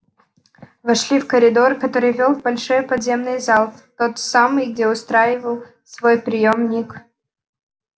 вошли в коридор который вёл в большой подземный зал в тот самый где устраивал свой приём ник